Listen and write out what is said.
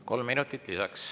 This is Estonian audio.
Kolm minutit lisaks.